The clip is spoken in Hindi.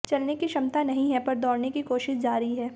चलने की क्षमता नहीं है पर दौड़ने की कोशिश जारी है